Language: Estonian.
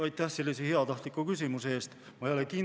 Aitäh sellise heatahtliku küsimuse eest!